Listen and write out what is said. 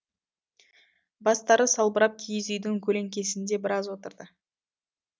бастары салбырап киіз үйдің көлеңкесінде біраз отырды